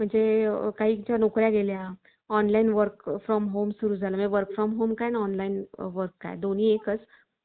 त्यांना कारण घरातली पुरुष प्रधान संस्कृती हि स्त्रियांना पुढे जाऊ देत नाही ती नेहमीच तुला काय येत नाही तुला काय जमत नाही अश्या गोष्टींमध्ये अडकवून ठेवते